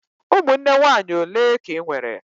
Ụmụnne nwaanyị ole ka Ị nwere?